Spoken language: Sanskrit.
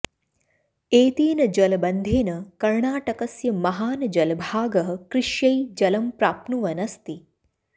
एतेन जलबन्धेन कर्णाटकस्य महान् जलभागः कृष्यै जलं प्राप्नुवन् अस्ति